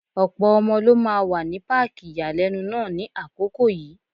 Ọ̀pọ̀ ọmọ ló máa wà ní páàkì ìyàlẹ́nu náà ní àkókò yìí.